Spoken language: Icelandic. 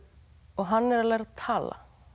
hann er að læra tala